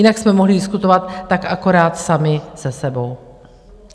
Jinak jsme mohli diskutovat tak akorát sami se sebou.